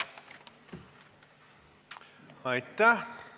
Aitäh!